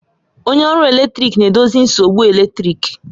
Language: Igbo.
Onye ọrụ eletrik na-edozi nsogbu eletrik